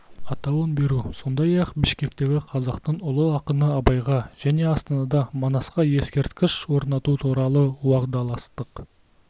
атауын беру сондай-ақ бішкекте қазақтың ұлы ақыны абайға және астанада манасқа ескерткіш орнату туралы уағдаластық